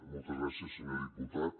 moltes gràcies senyor diputat